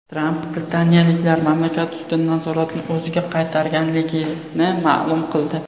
Tramp britaniyaliklar mamlakat ustidan nazoratni o‘ziga qaytarganligini ma’lum qildi.